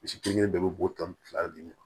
Misi kelen kelen bɛɛ be bo tan ni fila de ɲe